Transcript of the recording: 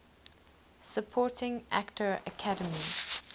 supporting actor academy